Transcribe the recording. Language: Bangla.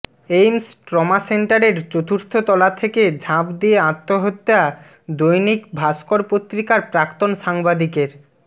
এইমস ট্রমা সেন্টারের চতুর্থ তলা থেকে ঝাঁপ দিয়ে আত্মহত্যা দৈনিক ভাস্কর পত্রিকার প্রাক্তন সাংবাদিকের